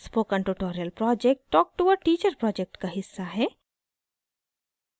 spoken tutorial project talk to a teacher project का हिस्सा है